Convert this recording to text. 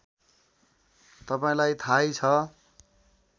तपाईँलाई थाहै छ